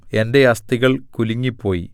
എന്റെ അസ്ഥികൾ കുലുങ്ങിപ്പോയി